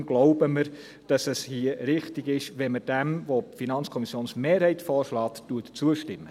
Deshalb glauben wir, dass es hier richtig ist, wenn wir dem, was die FiKo-Mehrheit vorschlägt, zustimmen.